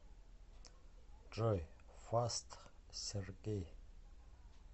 джой фаст сергей